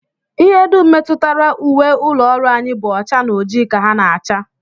Ihe dum metụtara uwe ụlọọrụ anyị bụ ọcha na ojii ka ha na-acha